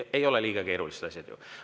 Ei ole liiga keerulised asjad ju.